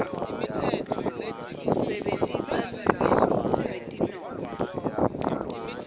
usebentisa lulwimi lwetinongo